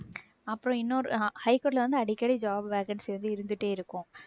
அப்புறம் இன்னொரு அஹ் high court ல வந்து அடிக்கடி job vacancy வந்து இருந்துட்டே இருக்கும்.